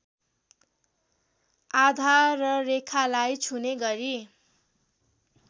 आधाररेखालाई छुने गरी